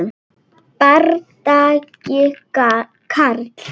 Bardagi Karls